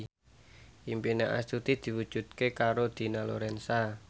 impine Astuti diwujudke karo Dina Lorenza